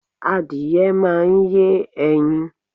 Adìẹ máa ń yé ẹyin.